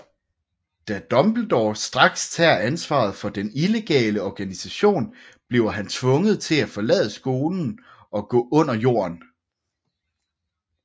Da Dumbledore straks tager ansvar for den illegale organisation bliver han tvunget til at forlade skolen og gå under jorden